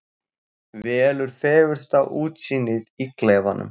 Velur fegursta útsýnið í klefanum.